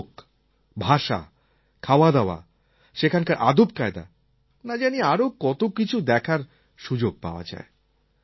লোক ভাষা খাওয়াদাওয়া সেখানকার আদবকায়দা না জানি আরও কত কিছু দেখার সুযোগ পাওয়া যায়